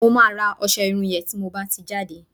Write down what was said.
mo ma ra ọsẹ Irun yen ti mo ba ti n jade